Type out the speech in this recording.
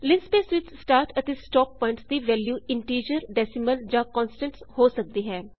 linspace ਵਿੱਚ start ਅਤੇ stop points ਦੀ ਵੈਲ੍ਯੂ ਇਨਟੀਜ਼ਰ ਡੈਸੀਮਲ ਜਾਂ ਕੋਨਸਟੈਂਟ੍ਸ ਹੋ ਸਕਦੀ ਹੈ